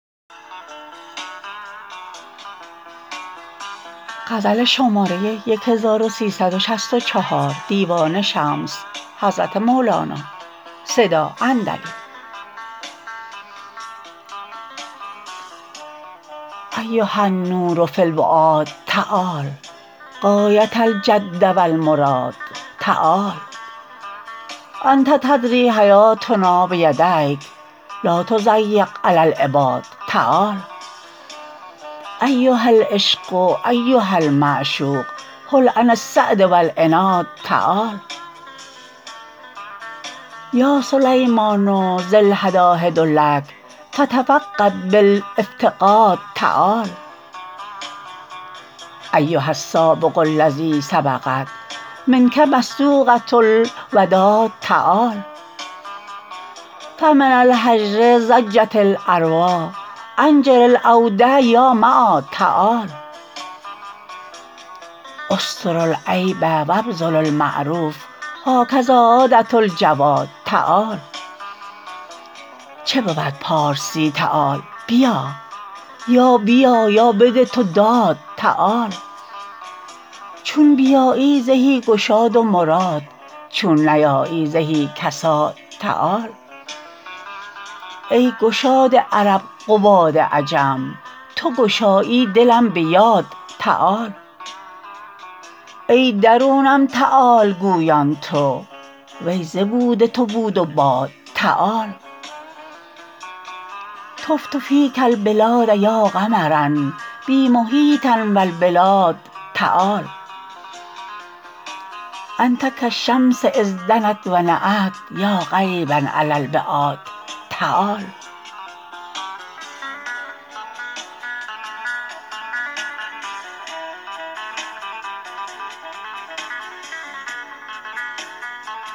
ایها النور فی الفؤاد تعال غایه الجد و المراد تعال انت تدری حیاتنا بیدیک لا تضیق علی العباد تعال ایها العشق ایها المعشوق حل عن الصد و العناد تعال یا سلیمان ذی الهداهد لک فتفقد بالافتقاد تعال ایها السابق الذی سبقت منک مصدوقه الوداد تعال فمن الهجر ضجت الارواح انجر العود یا معاد تعال استر العیب و ابذل المعروف هکذا عاده الجواد تعال چه بود پارسی تعال بیا یا بیا یا بده تو داد تعال چون بیایی زهی گشاد و مراد چون نیایی زهی کساد تعال ای گشاد عرب قباد عجم تو گشایی دلم به یاد تعال ای درونم تعال گویان تو وی ز بود تو بود و باد تعال طفت فیک البلاد یا قمرا بی محیطا و بالبلاد تعال انت کالشمس اذ دنت و نأت یا قریبا علی العباد تعال